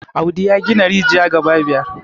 audi ya gina rijiya gaba biyar